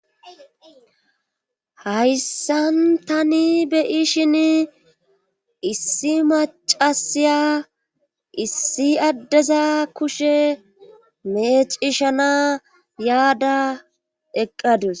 hayssan tani beyishin issi macasiya issi addeza kushe meecishana yaada eqqadus